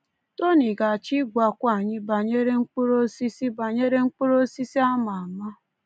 Tony ga-achọ ịgwakwu anyị banyere mkpụrụ osisi banyere mkpụrụ osisi a ama ama.